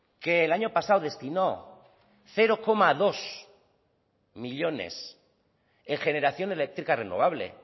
que el año pasado destinó cero coma dos millónes en generación eléctrica renovable